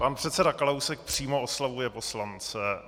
Pan předseda Kalousek přímo oslovuje poslance.